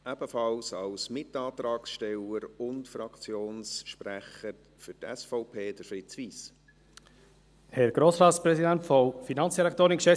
Ebenfalls als Mitantragsteller und Fraktionssprecher für die SVP spricht Fritz Wyss.